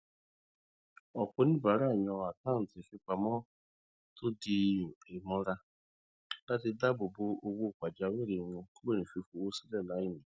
ọpọ oníbàárà yàn àkántì fipamọ tó dì mọra láti dáàbò bo owó pajawìrì wọn kúrò ní fífòwó sílẹ láìní